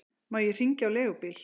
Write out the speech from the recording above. Má ég hringja á leigubíl?